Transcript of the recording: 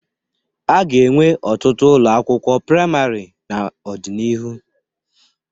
A ga-enwe ọtụtụ ụlọ akịwụkwọ praịmarị n'ọdịnihu.